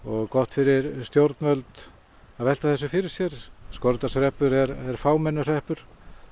gott fyrir stjórnvöld að velta þessu fyrir sér Skorradalshreppur er fámennur hreppur